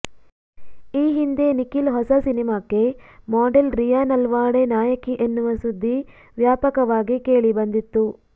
ಈ ಹಿಂದೆ ನಿಖಿಲ್ ಹೊಸ ಸಿನಿಮಾಕ್ಕೆ ಮಾಡೆಲ್ ರಿಯಾ ನಲ್ವಾಡೆ ನಾಯಕಿ ಎನ್ನುವ ಸುದ್ದಿ ವ್ಯಾಪಕವಾಗಿ ಕೇಳಿಬಂದಿತ್ತು